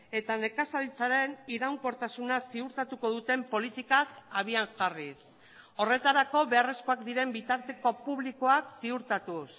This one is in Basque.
eta nekazaritzaren iraunkortasuna ziurtatuko duten politikak abian jarriz horretarako beharrezkoak diren bitarteko publikoak ziurtatuz